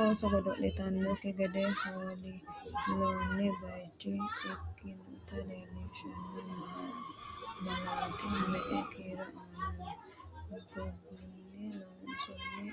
ooso godo’litannokki gede hool- loonni bayicho ikkinota leellishanno malaati me”e kiiro aana no? gogunni loonsoonni